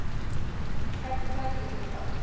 hvernig teljum við það